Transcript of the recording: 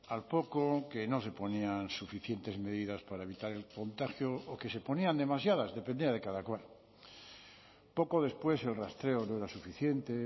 al poco que no se ponían suficientes medidas para evitar el contagio o que se ponían demasiadas dependía de cada cual poco después el rastreo no era suficiente